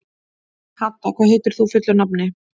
Hadda, hvað heitir þú fullu nafni?